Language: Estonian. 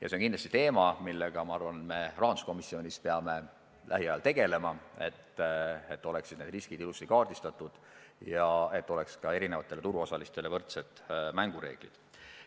See on kindlasti teema, millega me rahanduskomisjonis peame lähiajal tegelema, et need riskid oleksid ilusti kaardistatud ja et eri turuosalistele kehtiksid võrdsed mängureeglid.